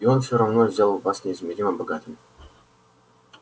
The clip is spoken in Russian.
и он все равно сделает вас неизмеримо богатым